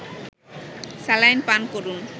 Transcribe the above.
saline পান করুন